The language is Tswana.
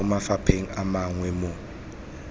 mo mafapheng a mangwe mo